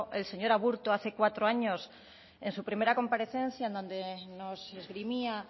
el señor aburto hace cuatro años en su primera comparecencia donde nos esgrimía